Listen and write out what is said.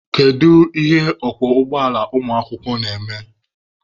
Kedu ihe ọkwọ ụgbọala ụmụakwụkwọ na-eme?